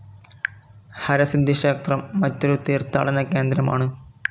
ഹരസിദ്ധി ക്ഷേത്രം മറ്റൊരു തീർത്ഥാടന കേന്ദ്രമാണ്.